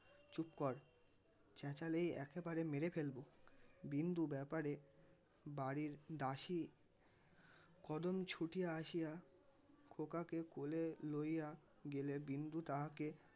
চুপ কর. চেঁচালেই একেবারে মেরে ফেলবো. বিন্দু ব্যাপারে বাড়ির দাসী কদম ছুটিয়া আসিয়া খোকাকে কোলে লইয়া গেলে বিন্দু তাহাকে